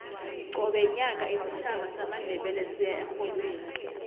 qobe nyaka isitjhaba samandebele siya erholweni